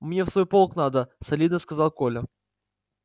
мне в свой полк надо солидно сказал коля